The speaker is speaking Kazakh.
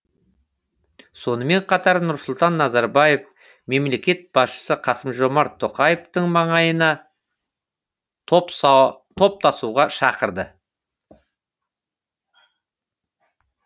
сонымен қатар нұрсұлтан назарбаев мемлекет басшысы қасым жомарт тоқаевтың маңайына топтасуға шақырды